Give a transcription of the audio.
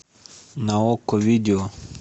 на окко видео